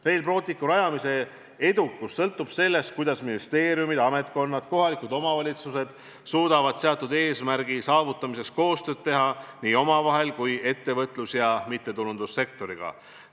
Rail Balticu rajamise edukus sõltub sellest, kuidas ministeeriumid, ametkonnad ja kohalikud omavalitsused suudavad seatud eesmärgi saavutamiseks koostööd teha – nii omavahel kui ka ettevõtlus- ja mittetulundussektoriga.